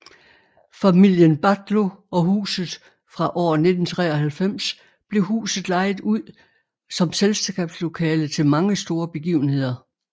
Familien Battlo og huset Fra år 1993 blev huset lejet ud som selskabslokale til mange store begivenheder